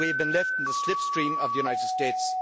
We have been left in the slipstream of the United States.